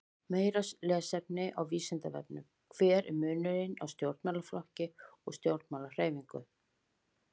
Meira lesefni á Vísindavefnum: Hver er munurinn á stjórnmálaflokki og stjórnmálahreyfingu?